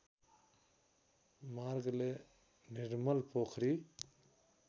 मार्गले निर्मल पोखरी